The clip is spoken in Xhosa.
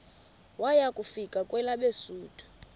waya kufika kwelabesuthu